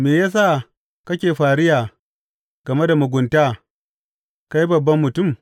Me ya sa kake fariya game da mugunta, kai babban mutum?